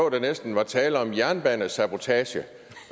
at der næsten var tale om jernbanesabotage